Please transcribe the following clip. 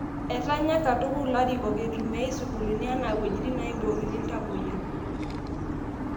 Etanya katukul ilarikok eiitumiai sukuulini enaa wuejitin naibookini iltamuayia